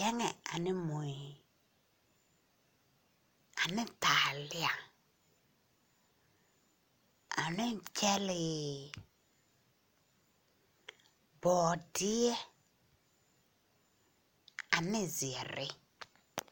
Bɛŋɛ ane mui, ane taalea, ane gyɛlee, bɔɔdeɛ, ane zeɛɛre.